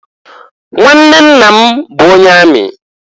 Nwanne nna m bụ onye amị.